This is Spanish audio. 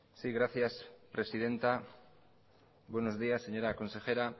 sí gracias presidenta buenos días señora consejera